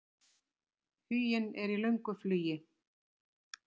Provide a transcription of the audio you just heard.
Huginn er í löngu flugi.